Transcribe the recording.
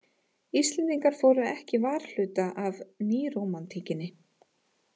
Íslendingar fóru ekki varhluta af nýrómantíkinni.